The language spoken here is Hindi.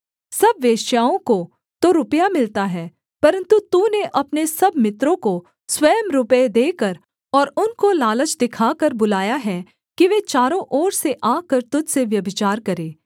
सब वेश्याओं को तो रुपया मिलता है परन्तु तूने अपने सब मित्रों को स्वयं रुपये देकर और उनको लालच दिखाकर बुलाया है कि वे चारों ओर से आकर तुझ से व्यभिचार करें